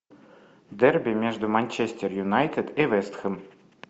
дерби между манчестер юнайтед и вест хэм